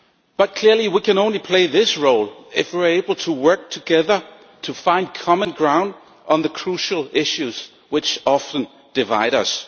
But clearly, we can only play this role if we are able to work together to find common ground on the crucial issues which often divide us.